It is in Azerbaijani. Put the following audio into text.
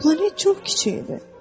Planet çox kiçik idi.